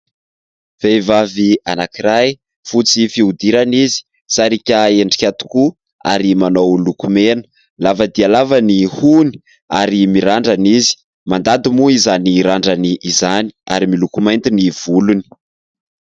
Vehivavy anankiray : fotsy fihodirana izy, sariaka endrika tokoa ary manao lokomena. Lava dia lava ny hohony ary mirandrana izy ; mandady moa izany randrany izany ary miloko mainty ny volony.